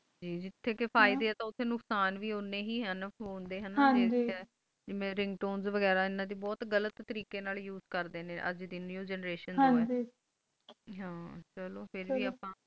ਜਿਥੈ ਕ ਫਾਇਦੇ ਹੈ ਉਠਾਈ ਨੁਕਸਾਨ ਵੇ ਉਣੇ ਹੈ ਹਨ ਫੋਨ ਡ ring tones ਵੇਗਹੇਰਾ ਬਹੁਤ ਗ਼ਲਤ ਤਾਰਿਕਾ ਨਾਲ use ਕਰਦਾ ਨੇ ਅਜੇ ਦੀ new generation ਹੈ ਗ ਫੇਰ ਵੀ ਆਪ